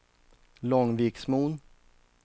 Långviksmon